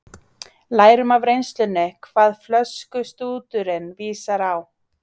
Lærum af reynslunni hvað flöskustúturinn vísar á.